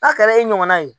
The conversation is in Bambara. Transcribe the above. N'a kɛra e ɲɔgɔnna ye